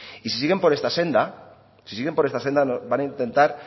y si siguen por esta senda van a intentar